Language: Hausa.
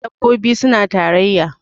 dabbobi suna tarayya